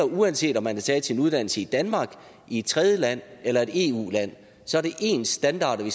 uanset om man har taget sin uddannelse i danmark i et tredjeland eller i et eu land så er det ens standarder vi